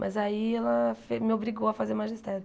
Mas aí ela fe me obrigou a fazer magistério.